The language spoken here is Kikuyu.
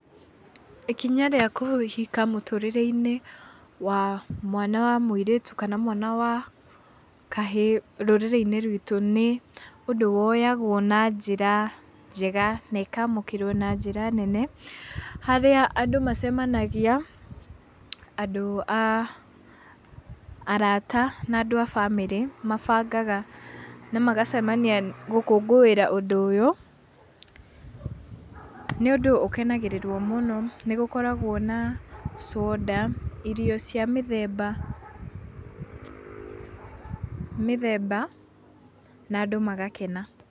Ikinya rĩa kũhika mũtũrĩre-inĩ wa mwana wa mũirĩtu kana wa mwana wa kahĩĩ rũrĩrĩinĩ ruĩtũ nĩ ũndũ woyagwo na njĩra njega na ĩkamũkĩrwo na njĩra nene. Harĩa andũ macemania andũ a arata na andũ a bamĩrĩ mabangaga na macemanagia gũkũngũĩra ũndũ ũyũ nĩ ũndũ ũkenagĩríĩrwo mũno. Nĩ gũkoragwo na soda irio cia mĩthemba, mĩthemba na andũ magakena.